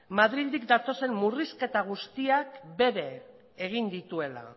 madrildik datozen murrizketa guztiak bere egin dituela